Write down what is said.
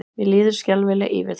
Mér líður skelfilega yfir þessu.